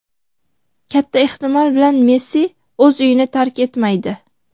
Katta ehtimol bilan Messi o‘z uyini tark etmaydi.